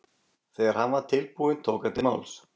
Þegar hann var tilbúinn tók hann til máls.